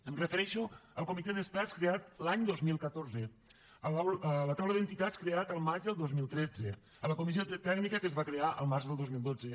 em refereixo al comitè d’experts creat l’any dos mil catorze a la taula d’entitats creada el maig del dos mil tretze a la comissió tècnica que es va crear el març del dos mil dotze